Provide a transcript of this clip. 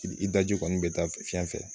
I daji kɔni bɛ taa fiɲɛ fɛ